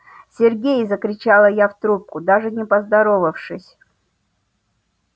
сергей закричала я в трубку даже не поздоровавшись